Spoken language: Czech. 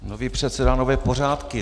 Nový předseda, nové pořádky.